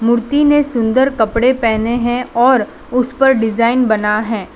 मूर्ति ने सुंदर कपड़े पहने हैं और उस पर डिजाइन बना है।